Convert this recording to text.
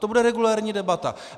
To bude regulérní debata.